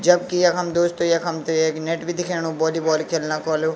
जबकि यखम दोस्तों यखम त एक नेट भी दिख्याणु वोली-बॉल खेलना कु वलू।